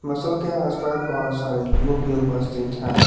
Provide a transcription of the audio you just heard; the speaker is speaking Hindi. बसो के आसपास बहोत सारे लोग भी उपस्थिति है।